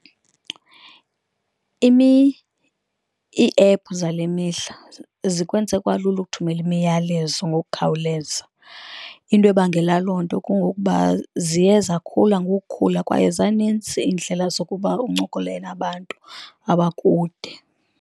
Iiephu zale mihla zikwenze kwalula ukuthumela imiyalezo ngokukhawuleza, into ebangela loo nto kungokuba ziye zakhula ngokukhula kwaye zanintsi iindlela zokuba uncokole nabantu abakude.